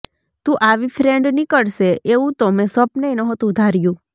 તું આવી ફ્રેન્ડ નીકળશે એવું તો મેં સ્વપ્નેય નહોતું ધાર્યું